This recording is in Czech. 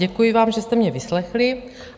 Děkuji vám, že jste mě vyslechli.